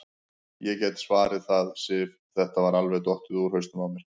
Ég get svarið það, Sif, þetta var alveg dottið út úr hausnum á mér.